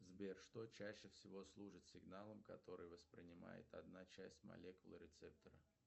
сбер что чаще всего служит сигналом который воспринимает одна часть молекулы рецептора